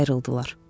Sonra ayrıldılar.